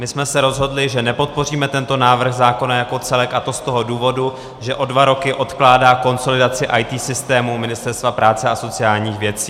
My jsme se rozhodli, že nepodpoříme tento návrh zákona jako celek, a to z toho důvodu, že o dva roky odkládá konsolidaci IT systémů Ministerstva práce a sociálních věcí.